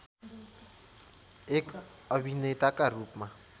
एक अभिनेताका रूपमा